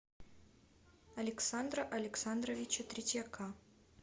александра александровича третьяка